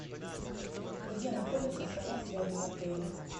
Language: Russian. где находится салон связи в отеле